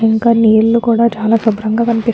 ఇంక నీలు కూడా చాలా శుభ్రంగా కనిపిస్తు --